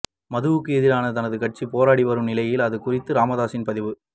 மதுவுக்கு எதிராக தனது கட்சி போராடி வரும் நிலையில் அது குறித்த ராமதாஸின் பதிவு